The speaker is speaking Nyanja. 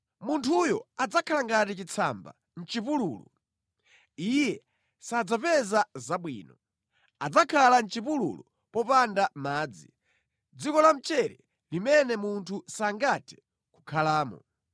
Munthuyo adzakhala ngati chitsamba mʼchipululu; iye sadzapeza zabwino. Adzakhala mʼchipululu mopanda madzi, mʼdziko lamchere limene munthu sangathe kukhalamo.